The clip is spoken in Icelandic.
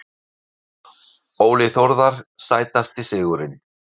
Óli Þórðar Sætasti sigurinn?